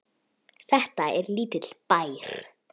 Þetta er lítill bær.